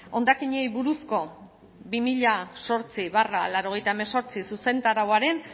hondakinei buruzko bi mila zortzi barra laurogeita hemezortzi zuzentarauaren